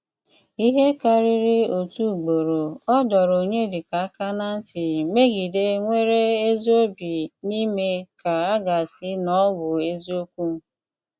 Íhé kárírí ótú ugboró, ọ́ dọ́rọ́ Ọnyédíkà áká ná ntí mègídè énwéré ézí òbí ná ímé kà à gá-ásí ná ọ́ bụ́ ézíòkwù.